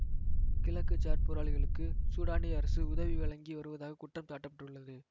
கிழக்கு சாட் போராளிகளுக்கு சூடானிய அரசு உதவி வழங்கி வருவதாக குற்றம் சாட்ட பட்டுள்ளது